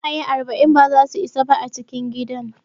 Ƙwaiƙwaye arba'in ba zasu isa ba a cikin gidan.